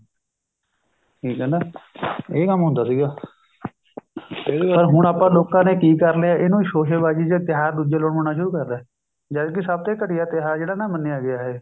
ਠੀਕ ਹੈ ਨਾ ਇਹ ਕੰਮ ਹੁੰਦਾ ਸੀਗਾ ਇਹ ਆ ਹੁਣ ਆਪਾਂ ਲੋਕਾਂ ਨੇ ਕੀ ਕਰ ਲਿਆ ਇਹਨੂੰ ਸ਼ੋਸੇਬਾਜੀ ਤਿਉਹਾਰ ਦੁੱਜੇ ਲੋਟ ਮਨਾਉਣੇ ਸ਼ੁਰੂ ਕਰ ਰਿਹਾ ਹੈ ਜਦ ਕੀ ਸਭ ਤੇ ਘਟੀਆ ਤਿਉਹਾਰ ਜਿਹੜਾ ਨਾ ਮੰਨਿਆ ਗਿਆ ਇਹ